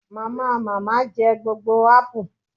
Mamamama je gbogbo apu